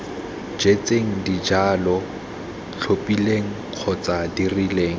jetseng dijalo tlhophileng kgotsa dirileng